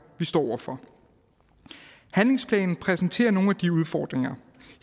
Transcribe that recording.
vi står over for handlingsplanen præsenterer nogle af de udfordringer